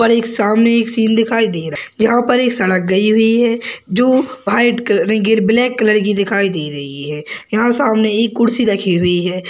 यहाँ पर एक सामने एक सीन दिखाई दे रहा है यहाँ पर एक सड़क गई हुई है जो व्हाइट कलर गी ब्लैक कलर की दिखाई दे रही है यहाँ सामने एक कुर्सी रखी हुई है ।